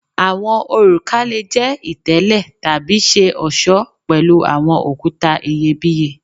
Awọn oruka le jẹ itele tabi ṣe ọṣọ pẹlu awọn okuta iyebiye